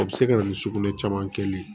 A bɛ se ka na ni sugunɛ caman kɛlen ye